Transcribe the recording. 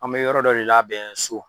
An be yɔrɔ dɔ de labɛn so.